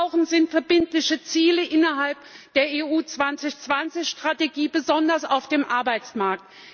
Was wir brauchen, sind verbindliche Ziele innerhalb der EU 2020 Strategie, besonders auf dem Arbeitsmarkt.